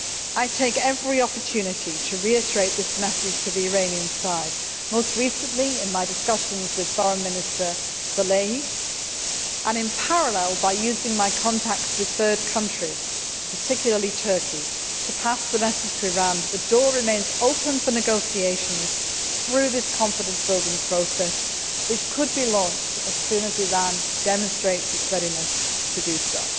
I take every opportunity to reiterate this message to the Iranian side, most recently in my discussions with Foreign Minister Salehi and in parallel by using my contacts with third countries, particularly Turkey, to pass the message to Iran that the door remains open for negotiations through this confidence building process which could be launched as soon as Iran demonstrates its readiness to do so.